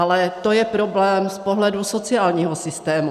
Ale to je problém z pohledu sociálního systému.